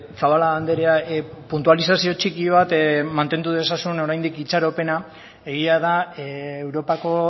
zabala andrea puntualizazio txiki bat mantendu dezazun oraindik itxaropena egia da europako